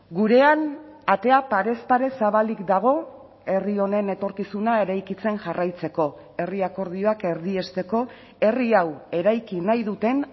gurean atea parez pare zabalik dago herri honen etorkizuna eraikitzen jarraitzeko herri akordioak erdiesteko herri hau eraiki nahi duten